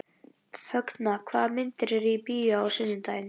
Högna, hvaða myndir eru í bíó á sunnudaginn?